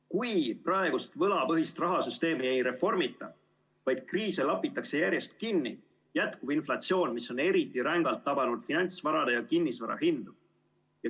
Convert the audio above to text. Kui praegust võlapõhist rahasüsteemi ei reformita, vaid kriise lapitakse järjest kinni, jätkub inflatsioon, mis on eriti rängalt tabanud finantsvarade ja kinnisvara hindu.